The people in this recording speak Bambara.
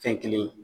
Fɛn kelen ye